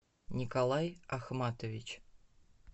николай ахматович